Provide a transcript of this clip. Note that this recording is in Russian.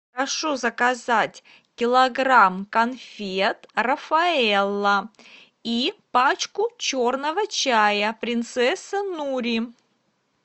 прошу заказать килограмм конфет рафаэлло и пачку черного чая принцесса нури